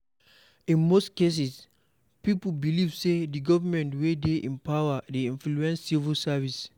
In most cases, pipo believe sey di government wey dey in power dey influence civil service